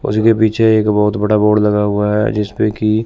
उसके पीछे एक बहोत बड़ा बोर्ड लगा हुआ है जिसपे की--